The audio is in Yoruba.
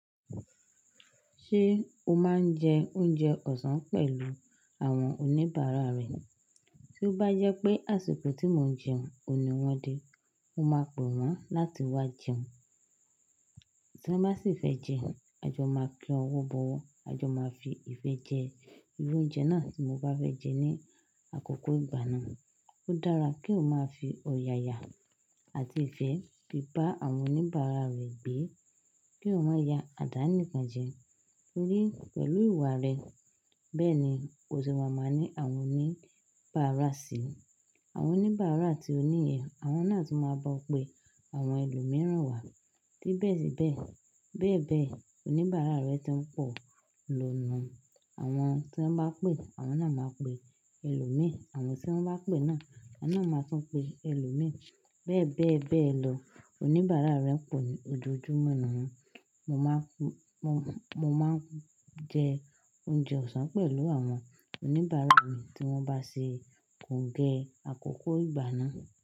Ṣé o máa ń jẹ oúnjẹ ọ̀sán pẹ̀lú àwọn oníbàárà rẹ? Tí ó bá jẹ́ pé àsìkò tí mo ń jẹun ò ní wọn dé, mo máa pe wọ́n láti wá jẹun. Tí wọ́n bá sì fẹ́ jẹ, a jọ máa kí ọwọ́ bọwọ́, a jọ máa fi ìfẹ́ jẹ irú oúnjẹ náà tí mo bá fẹ́ jẹ ní àkókò ìgbà náà. Ó dára kí o máa fi òyà ya àti ìfẹ́ fi bá àwọn oníbàárà rẹ gbé, kí eeyan má ya àdá nìkan jẹ torí pẹ̀lú ìwà rẹ bẹ́ẹ̀ ni ó se máa máa ni àwọn oníbàárà sí ẹ. Àwọn oníbàárà àti oníyẹ, àwọn náà tu máa ba ọ́ pe àwọn ẹlòmíràn wá. Tí bẹ́ẹ̀ síbẹ̀, bẹ́ẹ̀ bẹ́ẹ̀, oníbàárà rẹ tó ń pọ̀ ló nu un àwọn tí wọ́n bá pè, àwọn náà máa pe ẹlòmíràn, àwọn tí wọ́n bá pè náà, àwọn náà máa tún pe ẹlòmíràn. Bẹ́ẹ̀ bẹ́ẹ̀ bẹ́ẹ̀ lọ. Oníbàárà rẹ pọ̀ ní ojoojúmọ́ nu un. Mo máa ń, mo, mo máa ń jẹ oúnjẹ ọ̀sán pẹ̀lú àwọn oníbàárà mi tí wọ́n bá ṣe kòǹgẹ́ àkókò ìgbà náà.